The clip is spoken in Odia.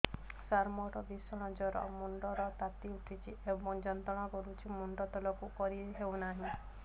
ସାର ମୋର ଭୀଷଣ ଜ୍ଵର ମୁଣ୍ଡ ର ତାତି ଉଠୁଛି ଏବଂ ଯନ୍ତ୍ରଣା କରୁଛି ମୁଣ୍ଡ ତଳକୁ କରି ହେଉନାହିଁ